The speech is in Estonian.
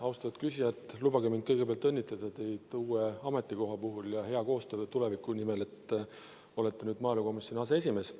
Austatud küsija, lubage mul kõigepealt õnnitleda teid uue ametikoha puhul ja hea koostöö ja tuleviku nimel, te olete nüüd maaelukomisjoni aseesimees.